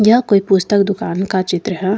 यह कोई पुस्तक दुकान का चित्र है।